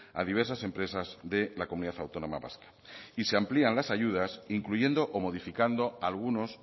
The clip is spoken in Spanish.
a diversas empresas de la comunidad autónoma vasca y se amplían las ayudas incluyendo o modificando algunos